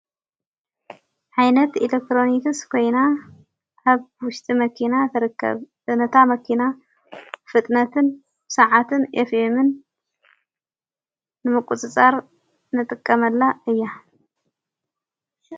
ኃይነት ኢለክትሮንትስ ኮይና ሃብ ውሽጢ መኪና ተረከብእነታ መኪና ፍጥነትን ሰዓትን የፍየምን ንምቊጽጻር ነጥቀመላ እያ::